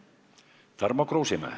Tarmo Kruusimäe.